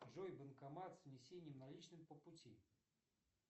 джой банкомат с внесением наличных по пути